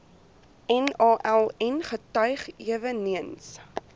naln getuig eweneens